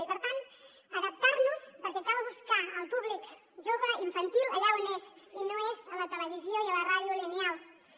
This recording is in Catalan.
i per tant adaptar nos perquè cal buscar el públic jove i infantil allà on és i no és a la televisió i a la ràdio lineals